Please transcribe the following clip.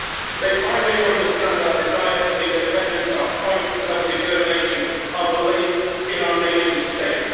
They finally understand our desire for independence, our fight for self determination, our belief in our nation state.